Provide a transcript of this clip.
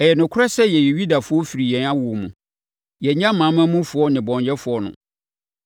“Ɛyɛ nokorɛ sɛ yɛyɛ Yudafoɔ firi yɛn awoɔ mu. Yɛnyɛ amanamanmufoɔ nnebɔneyɛfoɔ no.